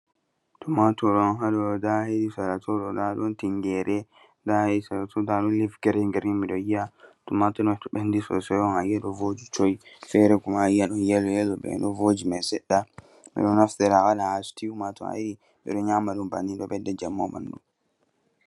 Tumaatur on haɗo ɗon daayi, sera tooɗo tingeere ndaa a yii sera too ɗum "leave green-green" mi ɗon yi'a. Tumaatur to ɓenndi soosay a yi'a ɗo vooji coy, feere Kuma ɗon "yellow-yellow" bee ɗo vooji may seɗɗa. Ɓe ɗo naftira haa "stew" maa to a yii ɓe ɗo nyaama ɗum banninii ɗo ɓedda njamu.